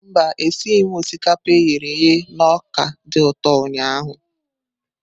Mba, esighị m osikapa e ghere eghe na ọka dị ụtọ ụnyahụ.